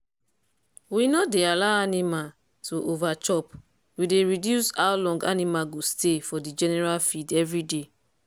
we no dey allow animal to over chop we dey reduce how long animal go stay for the general field every day.